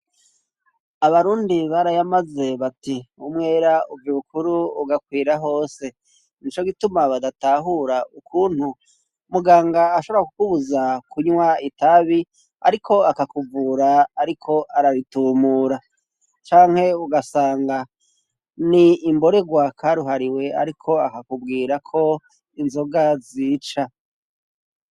Abarundi barayamaze bati, umwera uva ibukuru ugakwira hose. N'ico gituma badatahura ukuntu muganga ashobora kubuza kunywa itabi, ariko akakuvura ariko araritumura. Canke ugasanga n'imborerwa karuhariwe, ariko akakubwira ko inzoga zica.